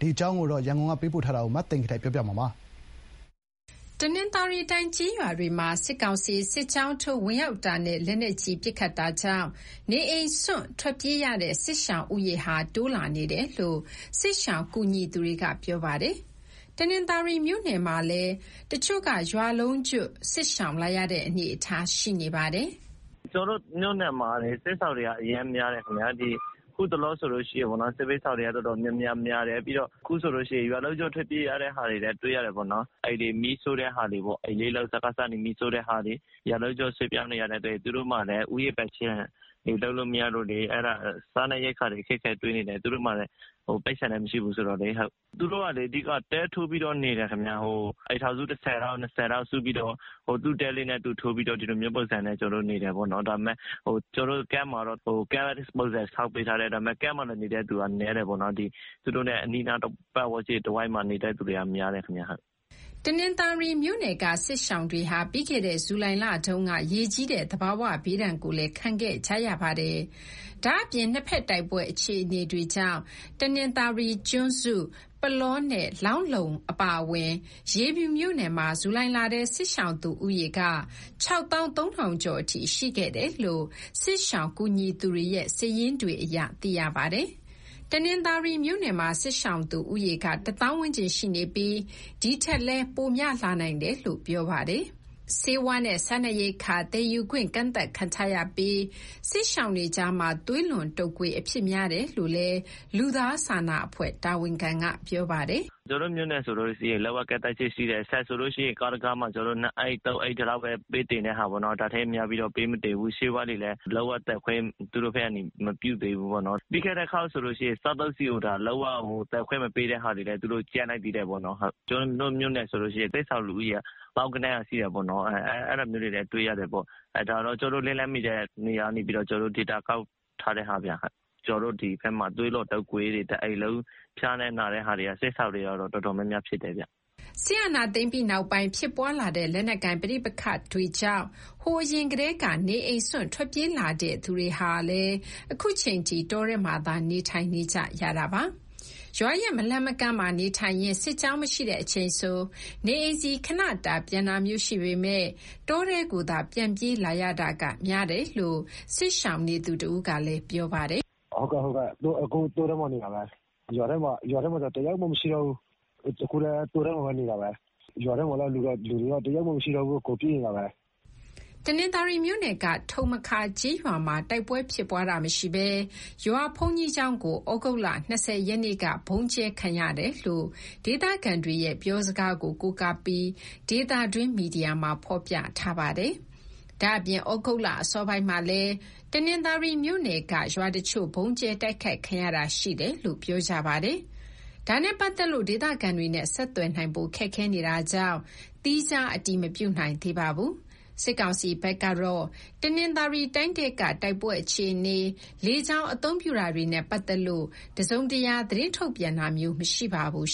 ဒီအကြောင်း ရန်ကုန်ဘက်က သတင်းပေးပို့ချက်ကို မသိင်္ဂီထိုက်ကတင်ပြပေးထားပါတယ်။ တနင်္သာရီတိုင်း ကျေးရွာတွေမှာ စစ်ကောင်စီ စစ်ကြောင်းထိုးဝင်ရောက်တာနဲ့ လက်နက်ကြီးပစ်ခတ်တာကြောင့် နေအိမ်စွန့်ထွက်ပြေးရတဲ့ စစ်ရှောင်ဦးရေ တိုးလာနေတယ်လို့ စစ်ရှောင်ကူညီသူတွေက ပြောပါတယ်။ တနင်္သာရီမြို့နယ်မှာလည်း တချို့က ရွာလုံးကျွတ်စစ်ရှောင်လာရတဲ့ အနေအထားရှိနေပါတယ်။ "ကျနော်တို့မြို့နယ်မှာ စစ်ရှောင်တွေက အရမ်းများတယ်။ အခုတလောဆိုရင် စစ်ဘေးရှောင်တွေက တော်တော်များများ များတယ်။ ပြီးတော့ အခုဆိုလို့ရှိရင် ရွာလုံးကျွတ် ထွက်ပြေးရတာတွေလည်း တွေ့ရတယ်ပေါ့နော်။ အိမ်တွေကို စကစက မီးရှို့တဲ့ဟာတွေ။ ရွာလုံးကျွတ်ရွှေ့ပြောင်းရတဲ့ သူတွေဆိုရင် သူတို့မှာလည်း ဥယျာဉ်ခြံတွေ လုပ်လို့မရတော့လေ။ စားနပ်ရိက္ခာအခက်အခဲ တွေ့နေတယ်။ သူတို့မှာ ပိုက်ဆံကလည်း မရှိဘူးဆိုတော့လေ။ သူတို့က အဓိက တဲထိုးပြီးတော့ နေတယ်ခင်ဗျ။ အိမ်ထောင်စု ၁၀၊ ၂၀ စုပြီးတော့ သူ့တဲလေးနဲ့သူ ထိုးပြီးတော့ ဒီလိုမျိုးပုံစံနဲ့ နေတယ်ပေါ့နော်။ ကျနော် တို့ကတော့ Camp ပုံစံဆောက်ပေးထားတယ်။ ဒါပေမဲ့ Camp မှာနေတဲ့ သူက နည်းတယ်ပေါ့နော်။ သူတို့နဲ့ အနီးအနားတဝိုက် ပတ်ဝန်းကျင်မှာနေတဲ့ သူကများတယ်ခင်ဗျ။" တနင်္သာရီမြို့နယ်က စစ်ရှောင်တွေဟာ ပြီးခဲ့တဲ့ ဇူလိုင်လတုန်းက ရေကြီးတဲ့ သဘာဝဘေးဒဏ်ကိုလည်း ခံခဲ့ကြရပါတယ်။ ဒါ့အပြင် နှစ်ဘက်တိုက်ပွဲအခြေအနေတွေကြောင့် တနင်္သာရီ၊ ကျွန်းစု၊ ပုလောနဲ့ လောင်းလုံးအပါအဝင် ရေဖြူမြို့နယ်မှာ ဇူလိုင်လထဲ စစ်ရှောင်သူဦးရေက ၆၃,၀၀၀ ကျော်အထိ ရှိခဲ့တယ်လို့ စစ်ရှောင်ကူညီသူတွေရဲ့ စာရင်းတွေအရ သိရပါတယ်။ တနင်္သာရီမြို့နယ်မှာ စစ်ရှောင်သူဦးရေက တသောင်းဝန်းကျင်ရှိနေပြီး ဒီထက်လည်း ပိုများနိုင်တယ်လို့ ပြောပါတယ်။ ဆေးဝါးနဲ့ စားနပ်ရိက္ခာ သယ်ယူခွင့် ကန့်သတ်ခံထားရပြီး၊ စစ်ရှောင်တွေကြားမှာ သွေးလွန်တုပ်ကွေးအဖြစ်များတယ်လို့လည်း လူသားစာနာအဖွဲ့ တာဝန်ခံက ပြောပါတယ်။ "ကျနော်တို့ မြို့နယ်ဆိုရင် လုံးဝကန့်သတ်ချက်ရှိတယ်။ ဆန်ဆိုလို့ရှိရင် ကားတစီးမှာ ၂ အိတ်၊ ၃ အိတ်ထက်များပြီး ပေးမတင်ဘူး။ ဆေးဝါးတွေလည်း သူတို့ဘက်က သယ်ယူခွင့် လုံးဝမပြုသေးဘူး။ ပြီးခဲ့တဲ့တခေါက်ကဆိုရင် စားသုံးဆီကို သယ်ယူခွင့် လုံးဝရပ်လိုက်သေးတယ်။ ကျနော်တို့ မြို့နယ်ဆိုရင် စစ်ရှောင်လူဦးရေက သောင်းဂဏန်းရှိတာပေါ့။ ဒါတောင် ကျနော်တို့လက်လှမ်းမီတဲ့ နေရာကနေ ဒေတာကောက်ယူထားတဲ့ဟာဗျ။ ကျနော်တို့ဒီဘက်မှာ သွေးလွန်တုပ်ကွေးတွေ၊ တအိမ်လုံး ဖျားနာတာတွေကတော့ စစ်ရှောင်တွေမှာ တော်တော်များများ ဖြစ်တယ်ဗျ။" စစ်အာဏာသိမ်းပြီးနောက်ပိုင်း ဖြစ်ပွားလာတဲ့ လက်နက်ကိုင်ပဋိပက္ခကြောင့် ဟိုအရင်ကတည်းက နေအိမ်စွန့် ထွက်ပြေးလာတဲ့သူတွေ ဟာလည်း အခုချိန်ထိ တောထဲမှာသာ နေထိုင်နေကြတာပါ။ ရွာရဲ့မလှမ်းမကမ်းမှာ နေထိုင်ရင်း စစ်ကြောင်းမရှိတဲ့အချိန်ဆို နေအိမ်ဆီခဏတာ ပြန်တာမျိုးရှိပေမယ့် တောထဲကိုသာ ပြန်ပြေးလာရတာက များတယ်လို့ စစ်ရှောင်နေသူတဦးကလည်း ပြောပါတယ်။ "အကုန်လုံး တောထဲမှာနေ နေတာပဲ။ ရွာထဲမှာ တယောက်မှ မရှိတော့ဘူး။ အခုလည်း တောထဲမှာ နေကြတာပဲ။ ရွာထဲပြန်ဝင်တဲ့ သူတွေလည်း တယောက်မှမရှိတော့ဘဲ အကုန်ပြေးနေတာပဲ။" တနင်္သာရီမြို့နယ်က ထုံမခါကျေးရွာမှာ တိုက်ပွဲဖြစ်ပွားတာမရှိဘဲ ရွာဘုန်းကြီးကျောင်းကို ဩဂုတ်လ ၂၀ ရက်နေ့က ဗုံးကြဲခံရတယ်လို့ ဒေသခံတွေရဲ့ ပြောစကားကို ကိုးကားပြီး ဒေသတွင်းမီဒီယာမှာ ဖော်ပြထားပါတယ်။ ဒါ့အပြင် ဩဂုတ်လအစောပိုင်းမှာလည်း တနင်္သာရီ မြို့နယ်က ရွာတချို့ ဗုံးကြဲတိုက်ခိုက်ခံရတာ ရှိတယ်လို့ ပြောကြပါတယ်။ ဒါနဲ့ပတ်သက်လို့ ဒေသခံတွေနဲ့ ဆက်သွယ်နိုင်ဖို့ ခက်ခဲနေတာကြောင့် သီးခြားအတည်မပြုနိုင်သေးပါဘူး။ စစ်ကောင်စီဘက်ကတော့ တနင်္သာရီတိုင်းထဲက တိုက်ပွဲအခြေအနေ၊ လေကြောင်းအသုံးပြုတာတွေနဲ့ ပတ်သက်လို့ တစုံတရာ သတင်းထုတ်ပြန်တာမျိုး မရှိပါဘူး